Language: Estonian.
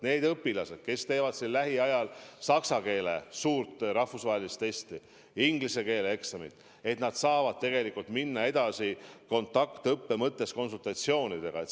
Need õpilased, kes teevad lähiajal saksa keele suurt rahvusvahelist testi või inglise keele eksamit, saavad minna edasi kontaktõppega, et konsultatsioonides käia.